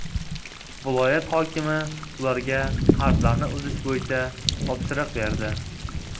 Viloyat hokimi ularga qarzlarni uzish bo‘yicha topshiriq berdi.